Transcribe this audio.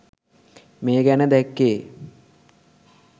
මේ ගැන දැක්කේ.